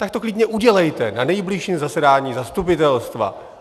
Tak to klidně udělejte na nejbližším zasedání zastupitelstva!